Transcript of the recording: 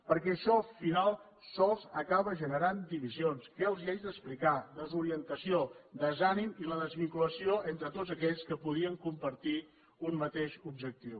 perquè això al final sols acaba generant divisions què els haig d’explicar desorientació desànim i la desvinculació entre tots aquells que podrien compartir un mateix objectiu